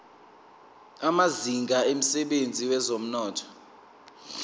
amazinga emsebenzini wezomnotho